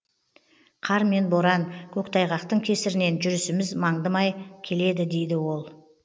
қар мен боран көктайғақтың кесірінен жүрісіміз мандымай келеді дейді ол